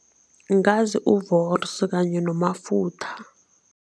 Ngazi u-Wors kanye noMafutha.